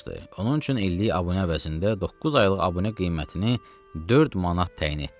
Onun üçün illik abunə əvəzində doqquz aylıq abunə qiymətini 4 manat təyin etdik.